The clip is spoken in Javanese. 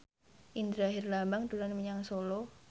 Indra Herlambang dolan menyang Solo